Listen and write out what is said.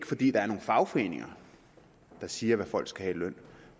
fordi der er nogle fagforeninger der siger hvad folk skal have i løn